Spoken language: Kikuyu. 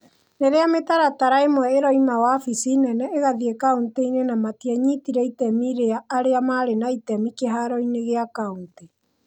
Rĩrĩa mĩtaratara ĩmwe ĩroima wabici nene ĩgathiĩ kauntĩ-inĩ na matianyitire itemi rĩa arĩa maarĩ na itemi kĩhaaro-inĩ gĩa kaunti.